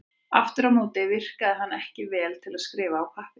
Aftur á móti virkaði hann ekki vel til að skrifa á pappír.